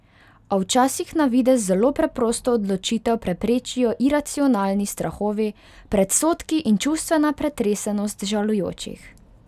A včasih na videz zelo preprosto odločitev preprečijo iracionalni strahovi, predsodki in čustvena pretresenost žalujočih.